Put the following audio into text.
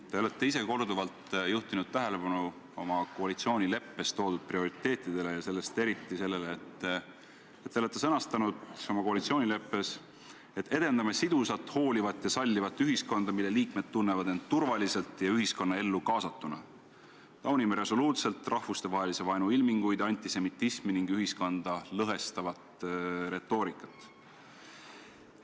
Te olete korduvalt juhtinud tähelepanu oma koalitsioonileppes esiletoodud prioriteetidele ja eriti järgmisele: olete koalitsioonileppes sõnastanud, et edendate sidusat, hoolivat ja sallivat ühiskonda, mille liikmed tunnevad end turvaliselt ja ühiskonnaellu kaasatuna, ning taunite resoluutselt rahvastevahelise vaenu ilminguid, antisemitismi ja ühiskonda lõhestavat retoorikat.